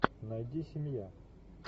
найди семья